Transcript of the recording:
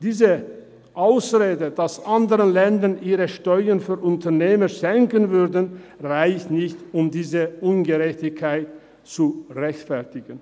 Die Ausrede, dass andere Länder ihre Steuern für Unternehmer senken würden, reicht nicht, um diese Ungerechtigkeit zu rechtfertigen.